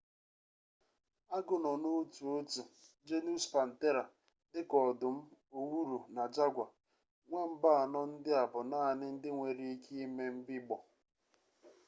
agụ nọ n’otu otu genus panthera dika ọdụm owuru na jaguar. nwamba anọ ndị a bụ naanị ndị nwere ike ime mbigbọ